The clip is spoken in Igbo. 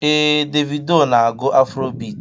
Ee, Davido na-agụ afrobit.